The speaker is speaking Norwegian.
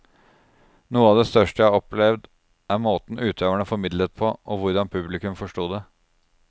Noe av det største jeg har opplevet er måten utøverne formidlet på, og hvordan publikum forsto det.